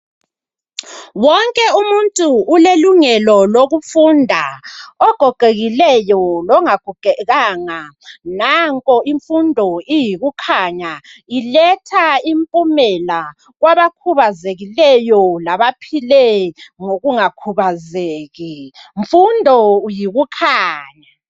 Wonke umuntu ulelungelo lokufunda. Ogogekileyo longagogekanga. Nanko imfundo iyikukhanya. Iletha impumela kwabakhubazekileyo labaphile ngokungakhubazeki. "Mfundo uyikukhanya"!